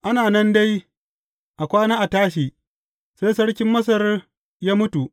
Ana nan dai, a kwana a tashi, sai sarkin Masar ya mutu.